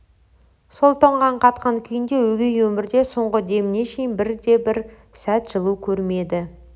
сол тоңған қатқан күйінде өгей өмірде соңғы деміне шейін бірде-бір сәт жылу көрмеді